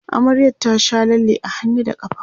amaryar ta Sha lalle a hannu da ƙafa